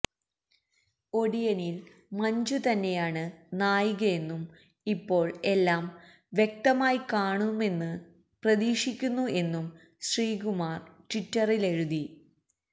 ഒടിയനില് മഞ്ജു തന്നെയാണ് നായികയെന്നും ഇപ്പോള് എല്ലാം വ്യക്തമായി കാണുമെന്ന് പ്രതീക്ഷിക്കുന്നു എന്നും ശ്രീകുമാര് ട്വിറ്ററിലെഴുതി